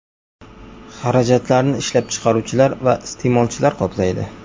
Xarajatlarni ishlab chiqaruvchilar va iste’molchilar qoplaydi.